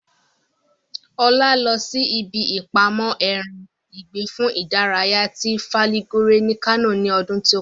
Olájídé lọ sí ibi ìpamọ́ ẹran ìgbẹ́ fún ìdárayá ti Fàlígòre ní Kánò ní ọdún tí ó kọjá